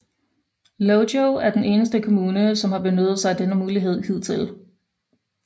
Lojo er den eneste kommune som har benyttet sig af denne mulighed hidtil